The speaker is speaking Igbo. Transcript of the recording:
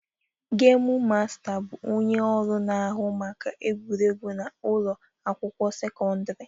Gemu Masta bụ onye ọrụ na-ahụ maka egwuregwu na ụlọ akwụkwọ sekọndrị